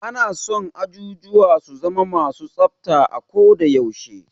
Ana son ajujuwa su zama ma su tsafta a ko da yaushe.